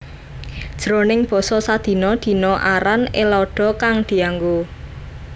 Jroning basa sadina dina aran Ellada kang dianggo